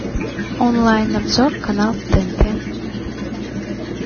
онлайн обзор канал тнт